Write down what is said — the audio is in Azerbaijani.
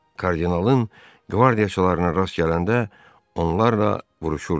Kardinalın qvardiyaçılarından rast gələndə onlarla vuruşurdular.